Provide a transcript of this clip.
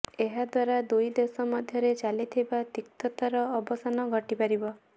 ଏହାଦ୍ୱାରା ଦୁଇ ଦେଶ ମଧ୍ୟରେ ଚାଲିଥିବା ତିକ୍ତତାର ଅବସାନ ଘଟିପାରିବ